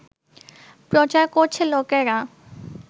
প্রচার করছে লোকেরা